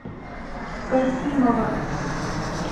касимова